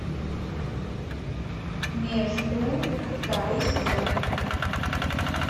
между второй сезон